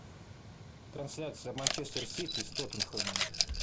трансляция манчестер сити с тоттенхэмом